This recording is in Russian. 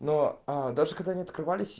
но аа даже когда они открывались